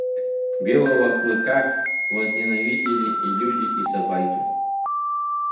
белого клыка возненавидели и люди и собаки